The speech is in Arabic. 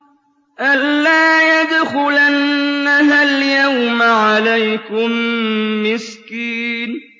أَن لَّا يَدْخُلَنَّهَا الْيَوْمَ عَلَيْكُم مِّسْكِينٌ